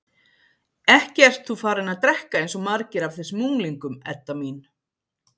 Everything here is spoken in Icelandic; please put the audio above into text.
Ekki ert þú farin að drekka eins og margir af þessum unglingum, Edda mín?